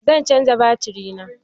Zan canja baturi na